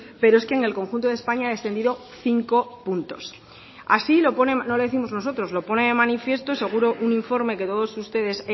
pero es que en el conjunto de españa ha descendido cinco puntos no lo décimos nosotros lo pone de manifiesto un informe que todos ustedes